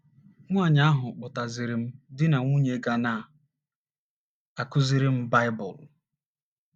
Nwaanyị ahụ kpọtaziiri m di na nwunye ga na - akụziri m Baịbụl.